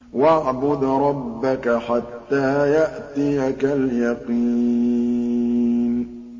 وَاعْبُدْ رَبَّكَ حَتَّىٰ يَأْتِيَكَ الْيَقِينُ